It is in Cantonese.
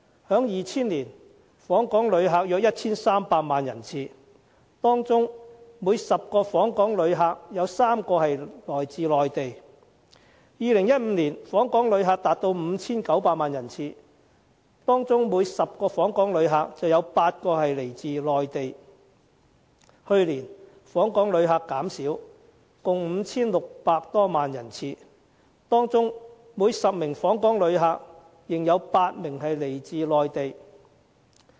在2000年，訪港旅客有 1,300 萬人次，當中每10名訪港旅客有3名來自內地；在2015年，訪港旅客達 5,900 萬人次，當中每10名訪港旅客有8名來自內地；去年，訪港旅客減少，共 5,600 多萬人次，當中每10名訪港旅客仍有8名來自內地。